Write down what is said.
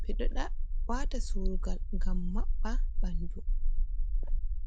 ɓe ɗo wata suru'ngal ngam maɓɓa ɓandu.